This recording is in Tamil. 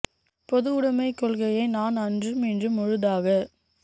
பொதுவுடமை கொள்கையை நான் அன்றும் இன்றும் முழுதாக